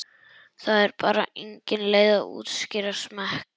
Það er bara engin leið að útskýra smekk.